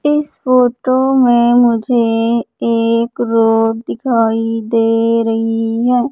इस फोटो में मुझे एक रोड दिखाई दे रही है।